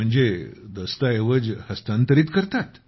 म्हणजे दस्तऐवज हस्तांतरित करता